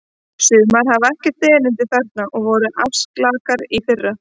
Sumar hafa ekkert erindi þarna og voru arfaslakar í fyrra.